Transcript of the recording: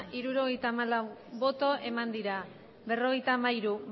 hirurogeita hamalau bai berrogeita hamairu